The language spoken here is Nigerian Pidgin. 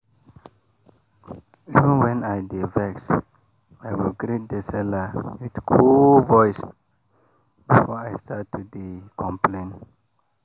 even when i dey vex i go greet the seller with cool voice before i start to dey complain.